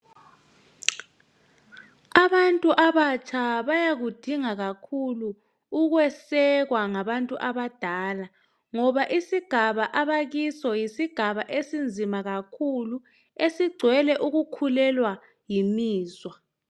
Abantu abatsha bayakudinga kakhulu ukwesekwa ngabantu abadala ngoba isigaba abakiso yisigaba esinzima kakhulu esigcwele ukukhulelwa yimizwa.